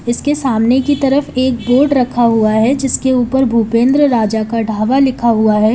इसके सामने की तरफ एक बोर्ड रखा हुआ है जिसके ऊपर भूपेंद्र राजा का ढाबा लिखा हुआ है।